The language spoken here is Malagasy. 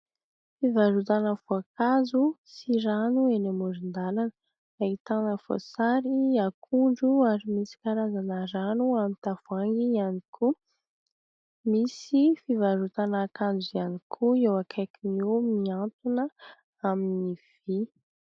Fivarotana voankazo sy rano eny amorin-dalana. Ahitana : voasary, akondro ary misy karazana rano amin'ny tavohangy ihany koa. Misy fivarotana akanjo ihany koa eo akaiky eo miantona amin'ny vy.